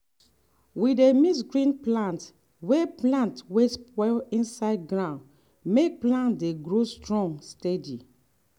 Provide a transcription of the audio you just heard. we dey mix green plant wey plant wey don spoil inside ground make plant dey grow strong steady.